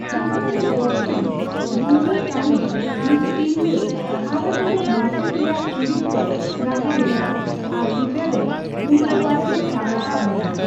ᱪᱤᱛᱟᱹᱨ ᱨᱮ ᱵᱚᱪᱪᱚᱱ ᱜᱩᱝᱲᱟᱹ ᱠᱟᱸᱲᱤ ᱢᱤᱫ ᱛᱤᱨᱞᱟᱹ ᱦᱟᱨᱟᱜᱚᱫᱚᱜ ᱢᱟᱪᱮᱫ ᱨᱮᱭᱟᱜ ᱪᱩᱨᱤᱛ ᱨᱮᱭ ᱜᱟᱦᱟᱣ ᱞᱮᱫᱟ ᱟᱨ ᱪᱤᱛᱟᱹᱨ ᱨᱮ ᱩᱱᱠᱩ ᱵᱟᱨᱮᱛᱮ ᱥᱟᱵᱨᱟᱠᱟᱵ ᱞᱮᱱᱟ ᱾